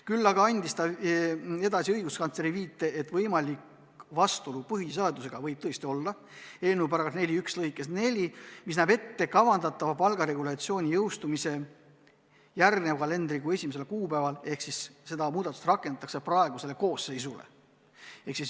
Küll aga andis ta edasi õiguskantsleri viite, et võimalik vastuolu põhiseadusega võib olla eelnõu § 41 lõikes 4, mis näeb ette kavandatava palgaregulatsiooni jõustumise järgmise kalendrikuu 1. kuupäeval ehk siis seda muudatust rakendataks praegusele koosseisule.